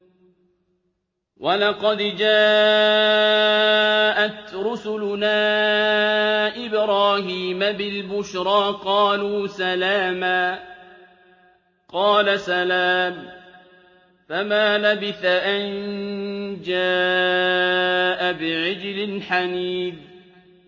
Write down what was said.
وَلَقَدْ جَاءَتْ رُسُلُنَا إِبْرَاهِيمَ بِالْبُشْرَىٰ قَالُوا سَلَامًا ۖ قَالَ سَلَامٌ ۖ فَمَا لَبِثَ أَن جَاءَ بِعِجْلٍ حَنِيذٍ